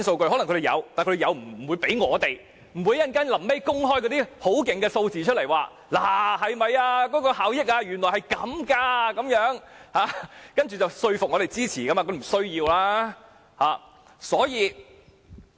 政府可能有這些資料，但不會交給我們，最後也不會公開一些數字，說高鐵的效益原來是這樣，以說服我們支持議案。